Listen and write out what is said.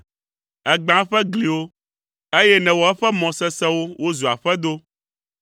Ègbã eƒe gliwo, eye nèwɔ eƒe mɔ sesẽwo wozu aƒedo.